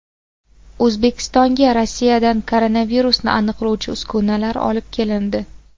O‘zbekistonga Rossiyadan koronavirusni aniqlovchi uskunalar olib kelindi.